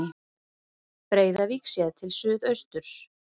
Breiðavík séð til suðausturs.